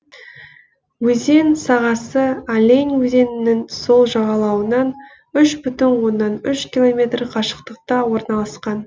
өзен сағасы олень өзенінің сол жағалауынан үш бүтін оннан үш километр қашықтықта орналасқан